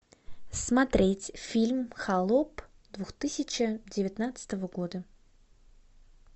смотреть фильм холоп две тысячи девятнадцатого года